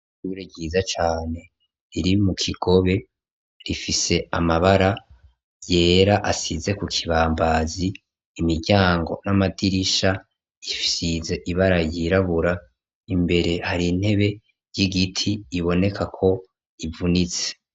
Ishure ryiza cane riri mu Kigobe, rifise amabara yera asize ku kibambazi, imiryango n'amadirisha isize ibara ryirabura, imbere hari intebe y'igiti ibonekako ivunitse.